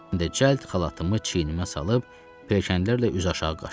Cəld xalatımı çiynimə salıb pilləkənlərlə üz aşağı qaçdım.